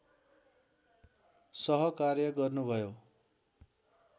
सहकार्य गर्नुभयो